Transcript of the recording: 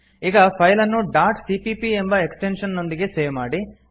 ಈಗ ಫೈಲ್ ಅನ್ನು dot CPP ಎಂಬ ಎಕ್ಸ್ಟೆಂಶನ್ ನೊಂದಿಗೆ ಸೇವ್ ಮಾಡಿ